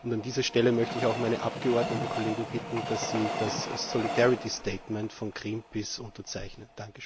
An dieser Stelle möchte ich auch meine Abgeordnetenkollegen bitten, dass sie das Solidarity Statement von Greenpeace unterzeichnen.